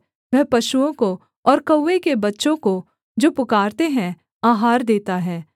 वह पशुओं को और कौवे के बच्चों को जो पुकारते हैं आहार देता है